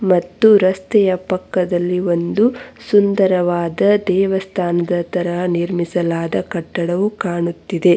ಮತ್ತು ರಸ್ತೆಯ ಪಕ್ಕದಲ್ಲಿ ಒಂದು ಸುಂದರವಾದ ದೇವಸ್ಥಾನದ ತರಹ ನಿರ್ಮಿಸಲಾದ ಕಟ್ಟಡವು ಕಾಣುತ್ತಿದೆ.